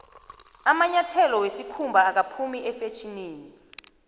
amanyathelo wesikhumba akaphumi efetjhinini